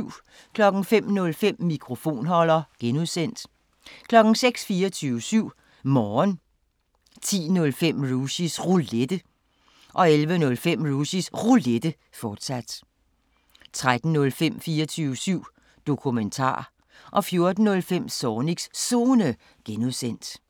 05:05: Mikrofonholder (G) 06:00: 24syv Morgen 10:05: Rushys Roulette 11:05: Rushys Roulette, fortsat 13:05: 24syv Dokumentar 14:05: Zornigs Zone (G)